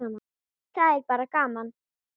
Það er bara gaman.